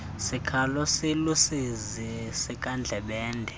sikhalo siluusizi sikandlebende